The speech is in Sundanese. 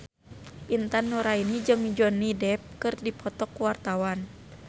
Intan Nuraini jeung Johnny Depp keur dipoto ku wartawan